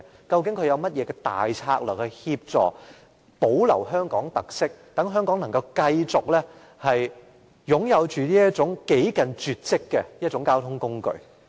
究竟政府有甚麼策略協助保留這項香港特色，好讓香港能繼續擁有這種幾近絕跡的交通工具？